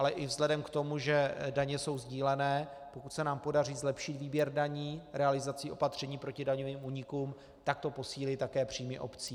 Ale i vzhledem k tomu, že daně jsou sdílené, pokud se nám podaří zlepšit výběr daní realizací opatření proti daňovým únikům, tak to posílí také příjmy obcí.